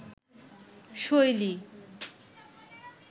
শৈলী